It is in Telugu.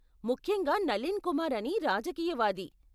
ముఖ్యంగా నలీన్ కుమార్ అని రాజకీయవాది.